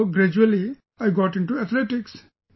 So gradually, I got into athletics